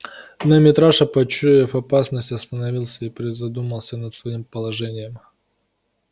но митраша почуяв опасность остановился и призадумался над своим положением